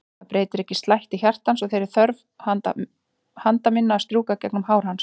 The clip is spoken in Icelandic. Það breytir ekki slætti hjartans og þeirri þörf handa minna að strjúka gegnum hár hans.